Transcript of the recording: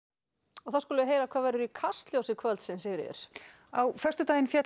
og þá skulum við heyra hvað verður í Kastljósi kvöldsins Sigríður á föstudaginn féll